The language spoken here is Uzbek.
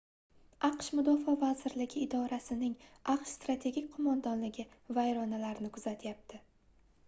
aqsh mudofaa vazirligi idorasining aqsh strategik qoʻmondonligi vayronalarni kuzatyapti